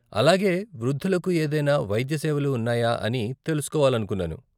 అలాగే, వృద్ధులకు ఏదైనా వైద్య సేవలు ఉన్నాయా అని తెలుసుకోవాలనుకున్నాను.